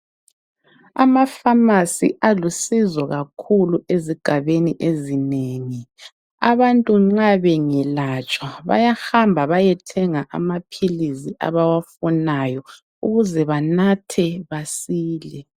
Amafamasi alusizo kakhulu ezigabebi ezinengi, abantu nxa bengelatshwa bayahamba bayethenga amaphilizi abawafunayo ukuze banathe basile.